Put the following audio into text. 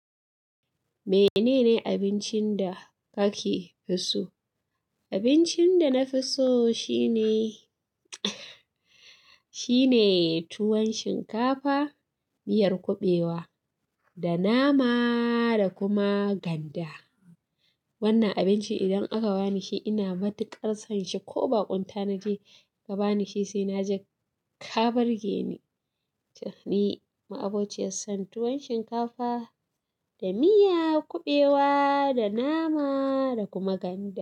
Menene abincin da kake so? Abincin da nafi so shine shine tuwon shinkafa, miyar kuɓewa da nama da kuma ganda. Wannan abinci idan aka bani shi ina matuƙar son shi ko baƙon ta na je ka bani shi sai na ji ka birge ni. Ni ma'abociyar tuwon shinkafa da miya kuɓewa da nama da kuma ganda.